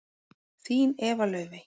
Þín Eva Laufey.